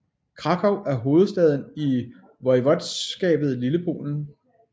Kraków er hovedstad i voivodskabet Lillepolen